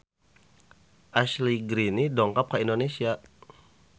Ashley Greene dongkap ka Indonesia